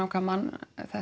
hvaða mann